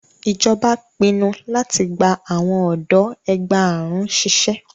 Ijọba pinnu lati gba awọn ọdọ ẹgbàárún ṣiṣẹ